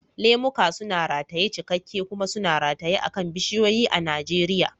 Lemuka suna rataye cikakke kuma suna rataye akan bishiyoyi a Najeriya.